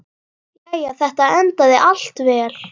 Jæja, þetta endaði allt vel.